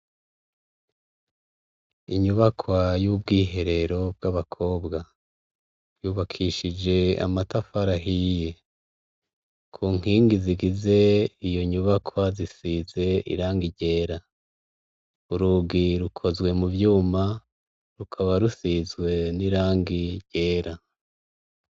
Inyubakwa y'ubwiherero bw'abakobwa yubakishije amata farahiye ku nkingi zigize iyo nyubakwa zisize iranga irera urugi rukozwe mu vyuma rukaba rusizwe n'irangie gera.